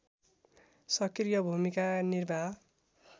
सक्रिय भूमिका निर्वाह